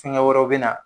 Fɛngɛ wɛrɛw bɛ na